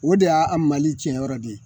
O de y'a a mali tiɲɛyɔrɔ de ye